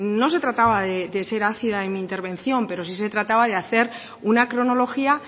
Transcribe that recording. no se trataba de ser ácida en mi intervención pero sí se trataba de hacer una cronología